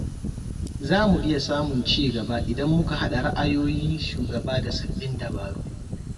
Zamu iya samun cigaba idan muka haɗa ra'ayoyin shugaba da sababbin dabaru.